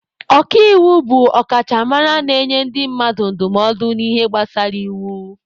Ọka iwu bụ ọkachamara na-enye ndị mmadụ ndụmọdụ n'ihe gbasara iwu.